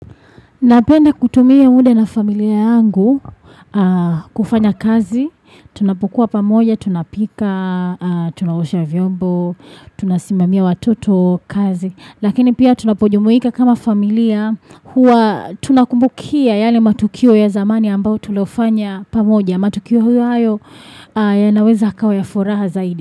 Napenda kutumia muda na familia yangu kufanya kazi. Tunapokua pamoja, tunapika, tunaosha vyombo, tunasimamia watoto kazi. Lakini pia tunapojumuika kama familia huwa tunakumbukia yale matukio ya zamani ambayo tulofanya pamoja. Matukio hayo yanaweza yakawa ya furaha zaidi.